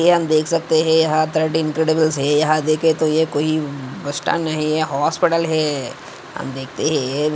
यहा हम देख सकते है यहा तो ये कोई बस स्टैंड नहीं है हॉस्पिटल है हम देखते है।